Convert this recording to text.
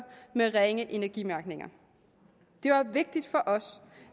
med ringe energimærkning det var vigtigt for os